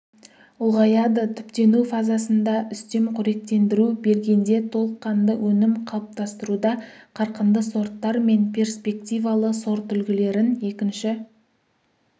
ұлғаяды түптену фазасында үстеп қоректендіру бергенде толыққанды өнім қалыптастыруда қарқынды сорттар мен перспективалы сортүлгілерін екінші